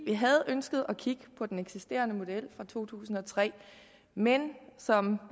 vi havde ønsket at kigge på den eksisterende model fra to tusind og tre men som